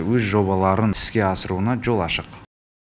өз жобаларын іске асыруына жол ашық